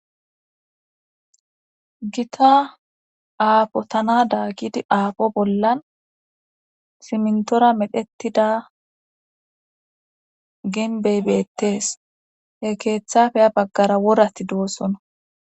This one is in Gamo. gita aafo tana daa gidi aapo bollan simntora medhettida genbey beettees he keeththafe ya baggara worati doossono